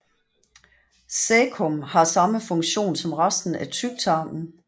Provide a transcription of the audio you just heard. Caecum har samme funktion som resten af tyktarmen